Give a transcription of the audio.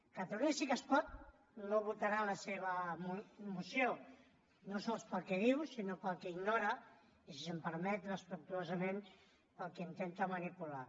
catalunya sí que es pot no votarà la seva moció no sols pel que diu sinó pel que ignora i si se’m permet respectuosament pel que intenta manipular